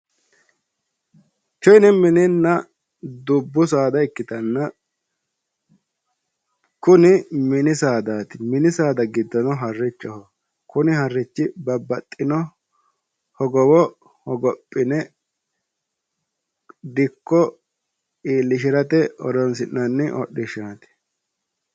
Tini mininna dubbu saada ikkitanna kuni mini saadaati mini saada giddono harrichoho kuni harrichino hogowo hogophine dikko iillishirate horoonsi'nanni hodhishshaati.